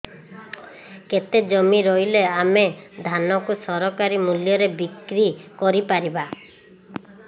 କେତେ ଜମି ରହିଲେ ଆମେ ଧାନ କୁ ସରକାରୀ ମୂଲ୍ଯରେ ବିକ୍ରି କରିପାରିବା